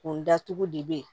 Kun datugu de bɛ yen